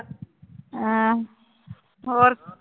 ਹਾਂ ਹੋਰ